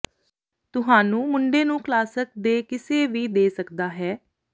ਤੁਹਾਨੂੰ ਮੁੰਡੇ ਨੂੰ ਕਲਾਸਿਕ ਦੇ ਕਿਸੇ ਵੀ ਦੇ ਸਕਦਾ ਹੈ